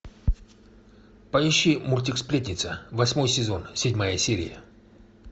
поищи мультик сплетница восьмой сезон седьмая серия